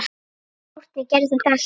Árni gerði þetta allt.